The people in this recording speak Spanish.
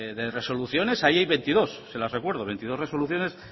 de resoluciones ahí hay veintidós se las recuerdo veintidós resoluciones